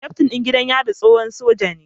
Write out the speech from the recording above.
Kyaftin ɗin gidan yarin tsohon soja ne